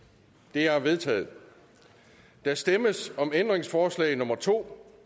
det er vedtaget der stemmes om ændringsforslag nummer to